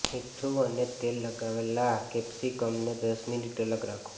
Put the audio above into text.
મીઠું અને તેલ લગાવેલાં કૅપ્સિકમને દસ મિનિટ અલગ રાખો